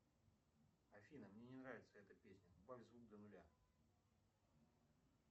афина мне не нравится эта песня убавь звук до нуля